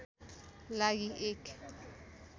लागि एक